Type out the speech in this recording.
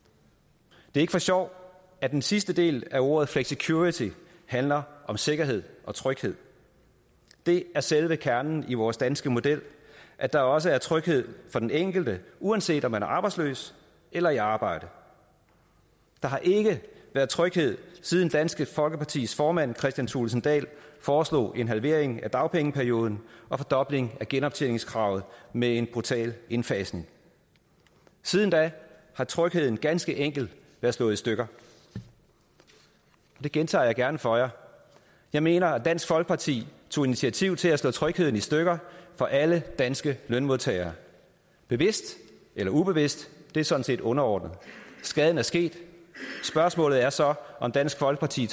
det er ikke for sjov at den sidste del af ordet flexicurity handler om sikkerhed og tryghed det er selve kernen i vores danske model at der også er tryghed for den enkelte uanset om man er arbejdsløs eller i arbejde der har ikke været tryghed siden dansk folkepartis formand kristian thulesen dahl foreslog en halvering af dagpengeperioden og fordobling af genoptjeningskravet med en brutal indfasning siden da har trygheden ganske enkelt være slået i stykker det gentager jeg gerne for jer jeg mener at dansk folkeparti tog initiativ til at slå trygheden i stykker for alle danske lønmodtagere bevidst eller ubevidst det er sådan set underordnet skaden er sket spørgsmålet er så om dansk folkeparti